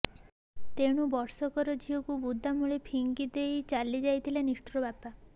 ତେଣୁ ବର୍ଷକର ଝିଅକୁ ବୁଦା ମୂଳେ ଫିଙ୍ଗି ଦେଇ ଚାଲି ଯାଇଛି ନିଷ୍ଠୁର ବାପା